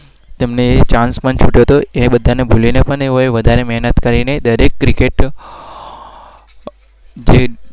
તમને એ જાણ પણ